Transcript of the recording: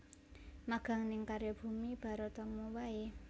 Magang ning Karya Bumi Baratama wae